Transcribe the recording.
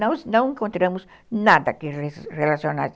Nós não encontramos nada que relacionasse.